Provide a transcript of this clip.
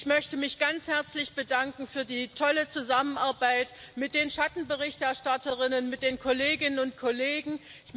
Ich möchte mich ganz herzlich für die tolle Zusammenarbeit mit den Schattenberichterstatterinnen, mit den Kolleginnen und Kollegen bedanken.